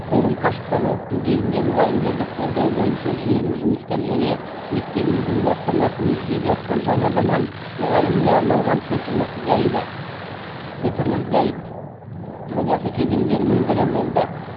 форум қашықтан оқыту кезінде мұғалімдерді қолдау бойынша жүйелі жұмыстар және мектебіміздің бастамасымен жүзеге асқан жаңа заман мұғаліміне арналған цифрлық гайд жобасы кезеңдерінің бірі болды